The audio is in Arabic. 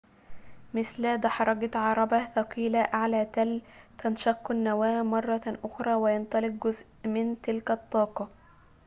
مثل دحرجة عربة ثقيلة أعلى تل تنشق النواة مرة أخرى وينطلق جزء من تلك الطاقة